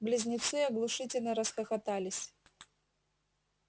близнецы оглушительно расхохотались